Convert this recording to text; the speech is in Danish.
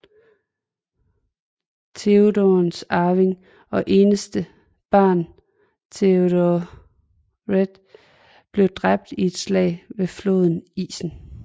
Theodens arving og eneste barn Théodred blev dræbt i et slag ved floden Isen